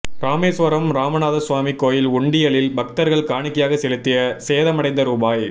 ராமேசுவரம் ராமநாதசுவாமி கோயில் உண்டியலில் பக்தா்கள் காணிக்கையாக செலுத்திய சேதமடைந்த ரூபாய்